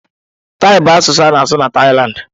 Taị bụ asụsụ a na-asụ na Taịlandị.